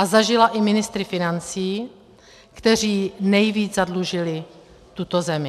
A zažila i ministry financí, kteří nejvíc zadlužili tuto zemi.